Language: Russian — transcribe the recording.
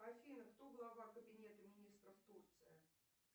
афина кто глава кабинета министров турции